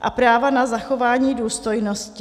a práva na zachování důstojnosti.